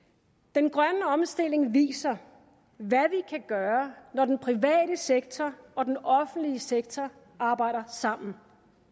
den grønne omstilling viser hvad vi kan gøre når den private sektor og den offentlige sektor arbejder sammen